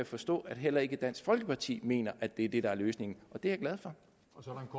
forstå at heller ikke dansk folkeparti mener at det er det der er løsningen og det er jeg glad for